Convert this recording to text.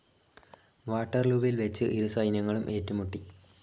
വാട്ടർലൂവിൽ വെച്ച് ഇരു സൈന്യങ്ങളും ഏറ്റുമുട്ടി.